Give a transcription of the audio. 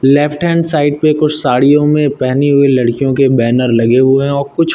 left hand side पे कुछ साड़ियों में पहनी हुई लड़कियों के बैनर लगे हुए है और कुछ--